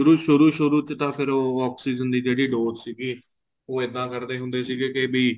ਸ਼ੁਰੂ ਸ਼ੁਰੂ ਚ ਤਾਂ ਫ਼ੇਰ ਉਹ oxygen ਦੀ ਜਿਹੜੀ dose ਸੀਗੀ ਉਹ ਇੱਦਾਂ ਕਰਦੇ ਹੁੰਦੇ ਸੀ ਕੇ ਵੀ